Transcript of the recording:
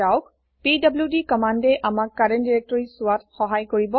PDD কম্মান্দএ আমাক current directory চোৱাত সহায় কৰিব